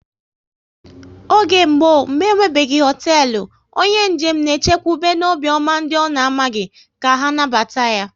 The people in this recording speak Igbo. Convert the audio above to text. Oge mgbọ, mgbe enwebeghi hoteelu, onye njem na e chekwube n'obiọma ndị ọ na amaghị ka anabata ya